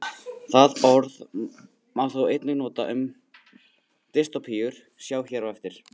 Það orð má þó einnig nota um dystópíur, sjá hér á eftir.